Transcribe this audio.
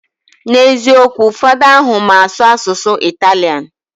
Na eziokwu, fada ahu mma asu asusu Italian